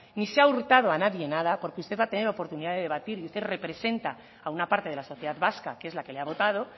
ni se ha hurtado a nadie nada porque usted va a tener oportunidad de debatir qué representa a una parte de la sociedad vasca que es la que le ha votado